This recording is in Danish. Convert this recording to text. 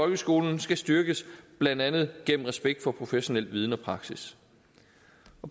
folkeskolen skal styrkes blandt andet gennem respekt for professionel viden og praksis